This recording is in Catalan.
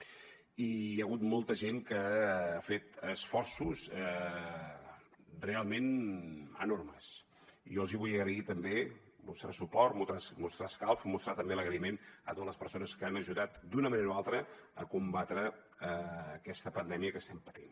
i hi ha hagut molta gent que ha fet esforços realment enormes i jo els hi vull agrair també mostrar suport mostrar escalf mostrar també l’agraïment a totes les persones que han ajudat d’una manera o altra a combatre aquesta pandèmia que estem patint